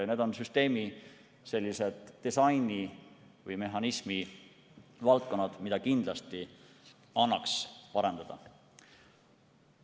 Need on süsteemi disaini või mehhanismi valdkonnad, mida kindlasti annaks parendada.